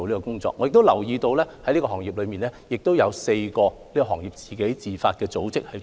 同時，我亦留意到此類企業中亦有4個行業自發的組織。